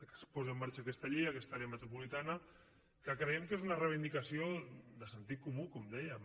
que es posi en marxa aquesta llei i aquesta àrea metropolitana que creiem que és una reivindicació de sentit comú com dèiem